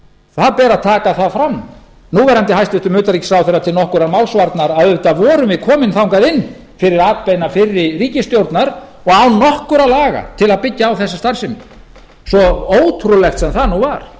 það ber að taka það fram núv hæstvirts utanríkisráðherra til nokkurrar málsvarnar að auðvitað vorum við komin þangað inn fyrir atbeina fyrri ríkisstjórnar og án nokkurra laga til að byggja á þessa starfsemi svo ótrúlegt sem það nú var